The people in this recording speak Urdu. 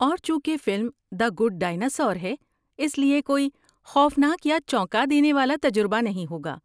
اور چونکہ فلم دی گڈ ڈائناسور ہے، اس لیے کوئی خوفناک یا چونکا دینے والا تجربہ نہیں ہوگا۔